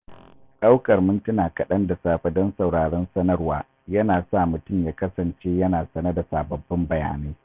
Daukar mintuna kaɗan da safe don sauraron sanarwa yana sa mutum ya kasance yana sane da sababbin bayanai.